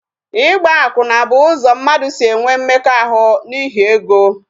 Ịgba akwụna bụ ụzọ mmadụ si enwe mmekọahụ n'ihi ego